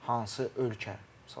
Hansı ölkə?